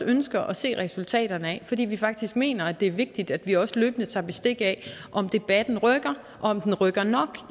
ønsker at se resultaterne af fordi vi faktisk mener det er vigtigt at vi også løbende tager bestik af om debatten rykker og om den rykker nok